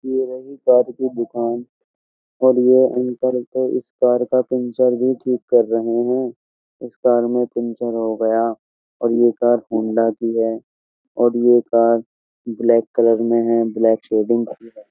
ये रही कार की दुकान और ये उस कार का पंचर भी ठीक कर रहे हैं। इस कार में पंचर हो गया और ये कार होंडा की है और ये कार ब्लैक कलर में है ब्लैक शेडिंग --